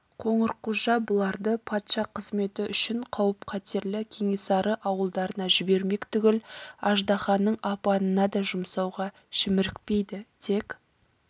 қоңырқұлжа бұларды патша қызметі үшін қауіп-қатерлі кенесары ауылдарына жібермек түгіл аждаһаның апанына да жұмсауға шімірікпейді тек